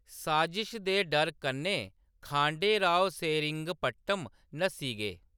साजिश दे डर कन्नै, खांडे राव सेरिंगपट्टम नस्सी गे।